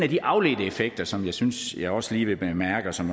de afledte effekter som jeg synes jeg også lige vil bemærke og som